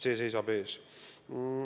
See seisab ees.